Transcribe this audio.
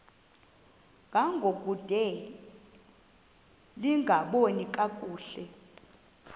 ngangokude lingaboni kakuhle